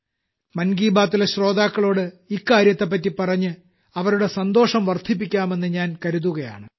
മൻ കീ ബാത്ത്ലെ ശ്രോതാക്കളോട് ഇക്കാര്യത്തെപ്പറ്റി പറഞ്ഞ് അവരുടെ സന്തോഷം വർദ്ധിപ്പിക്കാമെന്ന് ഞാൻ കരുതുകയാണ്